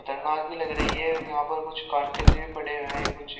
खतरनाक भी लग रही है यहां पर कुछ कांटे से भी पड़े हुए हैं कुछ --